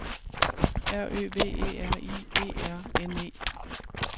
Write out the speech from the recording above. R Ø V E R I E R N E